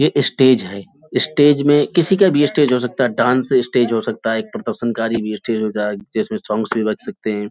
ये स्टेज है स्टेज में किसी का भी ये स्टेज हो सकता है । डांस स्टेज हो सकता है। एक प्रदर्शनकारी भी हो सकता है जिसमे सोंग्स भी बज सकते हैं ।